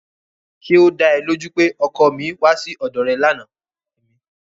Ṣé ó da ẹ lójú pé ọkọ mi wá sí ọ̀dọ̀ rẹ lánàá?